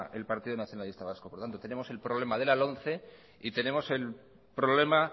el partido nacionalista vasco por tanto tenemos el problema de la lomce y tenemos el problema